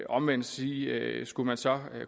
omvendt sige at skulle man så